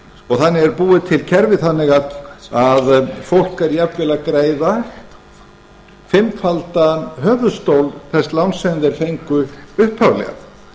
og þannig er búið til kerfi þannig að fólk er jafnvel að greiða fimmfaldan höfuðstól þess láns sem þeir fengu upphaflega